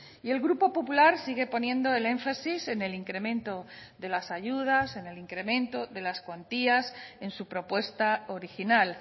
y el grupo popular sigue poniendo el énfasis en el incremento de las ayudas en el incremento de las cuantías en su propuesta original